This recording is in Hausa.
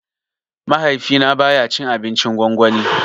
Mahaifi na baya cin abincin gwangwani